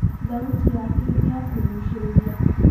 Thauti yake nĩ ya kũgucĩrĩria.